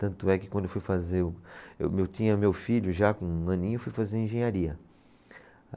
Tanto é que quando eu fui fazer o, eu tinha meu filho já com um aninho, eu fui fazer engenharia.